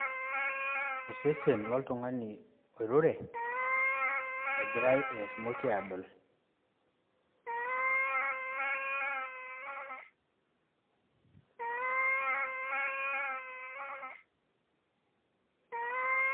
Osesen loltung'ani oirure egirai eshomoki adool